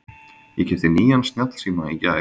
Ég keypti nýjan snjallsíma í gær.